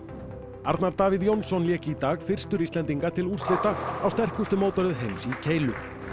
Arnar Davíð Jónsson lék í dag fyrstur Íslendinga til úrslita á sterkustu mótaröð heims í keilu